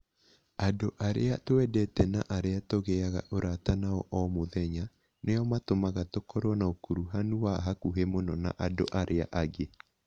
Andũ arĩa twendete na arĩa tũgĩaga ũrata nao o mũthenya, nĩo matũmaga tũkorũo na ũkuruhanu wa hakuhĩ mũno na andũ arĩa angĩ.